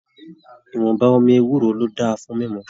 Ìwọ̀nba omi ewúro ló dáa fún mímú.